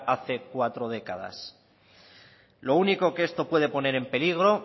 hace cuatro décadas lo único que esto puede poner en peligro